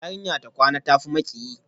Yarinya ta kwana, ta tafi miki